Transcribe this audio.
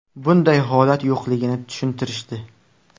Bunday holat yo‘qligini tushuntirishdi”.